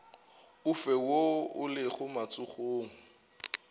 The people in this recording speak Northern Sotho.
ofe woo o lego matsogong